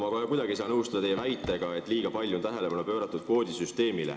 Ma kohe kuidagi ei saa nõustuda teie väitega, et kvoodisüsteemile on liiga palju tähelepanu pööratud.